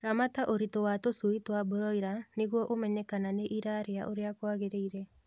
Ramata ũritũ wa tũshui twa broila nĩguo ũmenye kana nĩirarĩa ũrĩa kwagĩrĩle